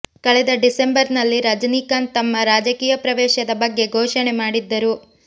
ಕಳೆದ ಡಿಸೆಂಬರ್ ನಲ್ಲಿ ರಜನೀಕಾಂತ್ ತಮ್ಮ ರಾಜಕೀಯ ಪ್ರವೇಶದ ಬಗ್ಗೆ ಘೋಷಣೆ ಮಾಡಿದ್ದರು